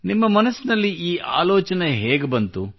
ನಿಮ್ಮ ಮನದಲ್ಲಿ ಈ ಆಲೋಚನೆ ಹೇಗೆ ಬಂತು